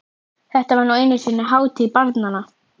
Þetta var nú einu sinni hátíð barnanna!